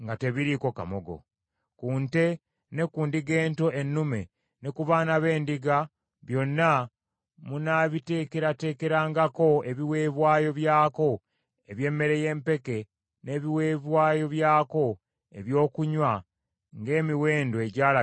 Ku nte ne ku ndiga ento ennume ne ku baana b’endiga, byonna munaabiteekerateekerangako ebiweebwayo byako eby’emmere y’empeke n’ebiweebwayo byako ebyokunywa ng’emiwendo egyalagirwa bwe giri.